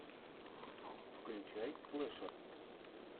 включай слэшер